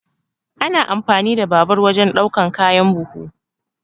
Ana amfani da babur wajan ɗaukan kayan buhu.